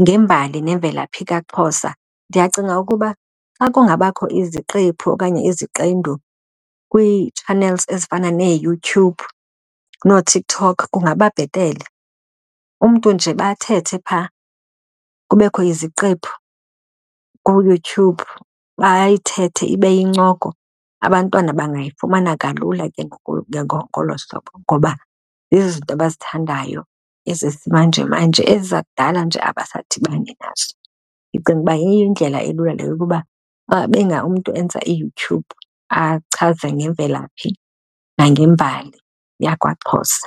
ngembali nemvelaphi kaXhosa. Ndiyacinga ukuba xa kungabakho iziqephu okanye iziqendu kwii-channels ezifana neeYouTube nooTikTok kungaba bhetele. Umntu nje uba athethe phaa kubekho iziqephu kuYouTube bayithethe ibe yincoko, abantwana bangayifumana kalula ke ngoku ke ngolo hlobo. Ngoba zizinto abazithandayo ezesimanjemanje, ezi zakudala nje abadibani nazo. Ndicinga uba yindlela elula le yokuba umntu enza iYouTube achaze ngemvelaphi nangembali yakwaXhosa.